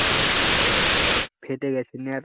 ফেটে গেছে নেয়ার